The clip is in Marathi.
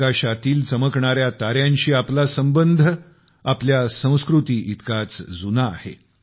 आकाशातील चमकणाऱ्या ताऱ्यांशी आपला संबंध आपल्या संस्कृतीइतकाच जूना आहे